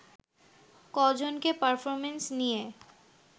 কজনকে performance নিয়ে